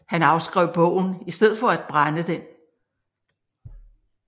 Han afskrev bogen i stedet for at brænde den